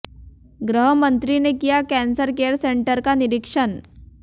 गृह मंत्री ने किया कैंसर केयर सेंटर का निरीक्षण